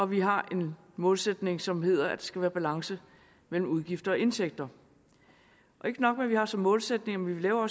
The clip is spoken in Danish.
vi har en målsætning som hedder at der skal være balance mellem udgifter og indtægter ikke nok med at vi har det som målsætning vi laver